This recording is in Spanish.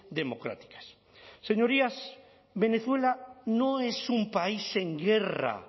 democráticas señorías venezuela no es un país en guerra